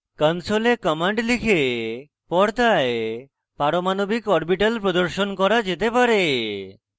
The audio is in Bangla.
console commands লিখে পর্দায় পারমাণবিক orbitals প্রদর্শন করা যেতে পারে